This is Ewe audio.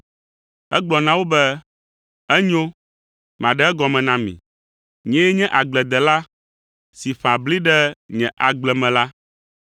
Egblɔ na wo be, “Enyo, maɖe egɔme na mi. Nyee nye agbledela si ƒã bli ɖe nye agble me la.